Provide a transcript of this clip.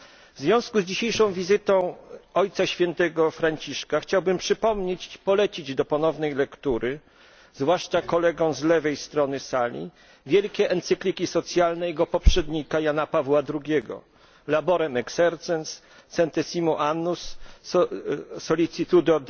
W związku z dzisiejszą wizytą Ojca Świętego Franciszka chciałbym przypomnieć, polecić do ponownej lektury, zwłaszcza kolegom z lewej strony sali, wielkie encykliki poprzednika, Jana Pawła II, Laborem Exercens Centesimus Annus Sollicitudo